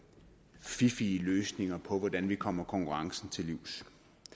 fiffige løsninger på hvordan vi kommer konkurrencen til livs